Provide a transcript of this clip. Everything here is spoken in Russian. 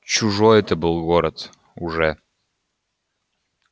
чужой это был город уже